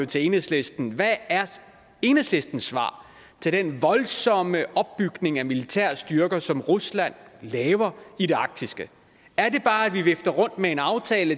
til enhedslisten hvad er enhedslistens svar til den voldsomme opbygning af militær styrke som rusland laver i det arktiske er det bare at vi vifter med en aftale